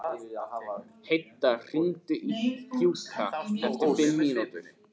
Heida, hringdu í Gjúka eftir fimm mínútur.